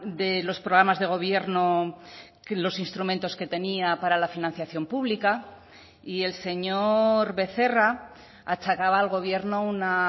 de los programas de gobierno que los instrumentos que tenía para la financiación pública y el señor becerra achacaba al gobierno una